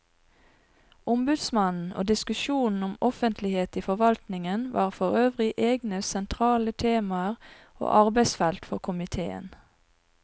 Ombudsmannen og diskusjonen om offentlighet i forvaltningen var forøvrig egne sentrale temaer og arbeidsfelt for komiteen.